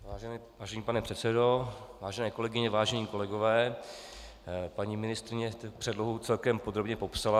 Vážený pane předsedo, vážené kolegyně, vážení kolegové, paní ministryně předlohu celkem podrobně popsala.